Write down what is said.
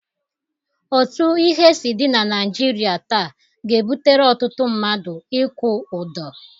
Otu ihe si dị na Naịjirịa taa ga-ebutere ọtụtụ mmadụ ịkwụ ụdọ.